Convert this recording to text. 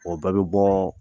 O bɛɛ bi bɔ